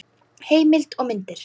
Heimild og myndir